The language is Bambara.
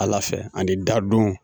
Ala fɛ ani da